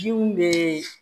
Jiw bɛ